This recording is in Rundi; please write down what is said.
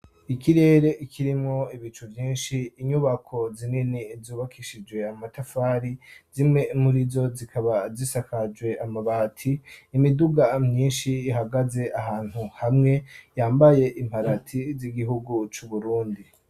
ikirere ikirimo ibicu vyinshi inyubako zinini zubakishije amatafari zimwe muri zo zikaba zisakajwe amabati imiduga myinshi ihagaze ahantu hamwe yambaye imparati z'igihugu c ‘Uburundi.